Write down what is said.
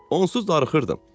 Onsuz darıxırdım.